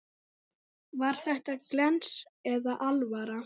Var þetta glens eða alvara?